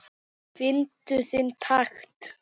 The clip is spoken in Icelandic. Fyndu þinn takt